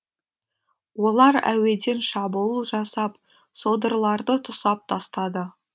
олар әуеден шабуыл жасап содырларды тұсап тастады